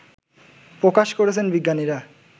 প্রকাশ করেছেন বিজ্ঞানীরা